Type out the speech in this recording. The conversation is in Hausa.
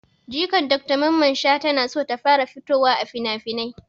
Jikan dr mamman shata na so ta fara fitowa a finafinai